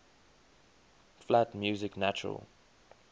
flat music natural